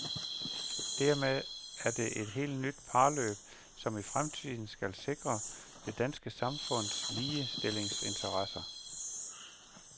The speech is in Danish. Dermed er det et helt nyt parløb, som i fremtiden skal sikre det danske samfunds ligestillingsinteresser.